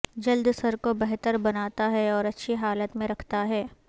جلد سر کو بہتر بناتا ہے اور اچھی حالت میں رکھتا ہے